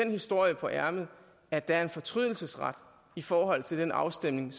historie på ærmet at der er en fortrydelsesret i forhold til den afstemning